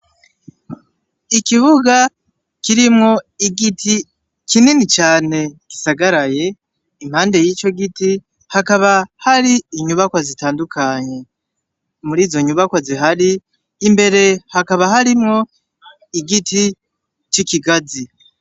Ikibuga kirimwo igiti kinini cane gisagaraye impande yico giti haba hari inyubakwa zitandukanye murizo nyubakwa zihari imbere hakaba harimwo igiti ciki gazi.